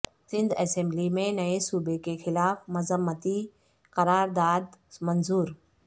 Sindh assembly میں نئے صوبے کے خلاف مذمتی قرار داد منظور